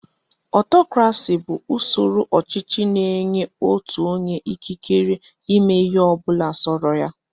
Ọtọkrasị bụ usoro ọchịchị na-enye otu onye ikikere ịme ịhe ọbụla sọrọ ya.